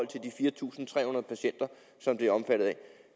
de fire tusind tre hundrede patienter som det omfatter